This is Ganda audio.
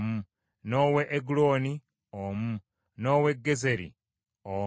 n’ow’e Egulooni omu, n’ow’e Gezeri omu,